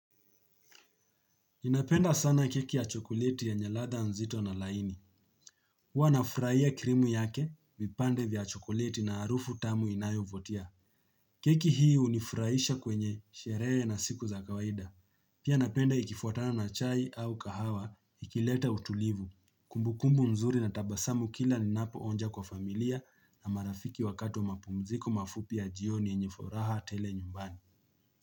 Ninapenda sana keki ya chokoleti yenye ladha nzito na laini. Huwa nafurahia krimu yake vipande vya chokoleti na harufu tamu inayovutia. Keki hii unifurahisha kwenye sherehe na siku za kawaida. Pia napenda ikifuatana na chai au kahawa ikileta utulivu. Kumbukumbu mzuri na tabasamu kila linapo onja kwa familia na marafiki wakati wa mapumziko mafupi ya jioni yenye furaha tele nyumbani.